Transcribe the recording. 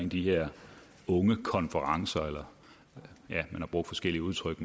de her ungekonferencer man har brugt forskellige udtryk